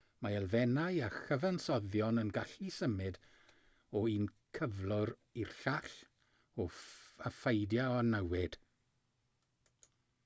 mae elfennau a chyfansoddion yn gallu symud o un cyflwr i'r llall a pheidio â newid